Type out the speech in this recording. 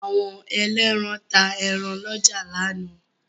Àwọn ẹlẹ́ran ta ẹran lọ́jà lánàá.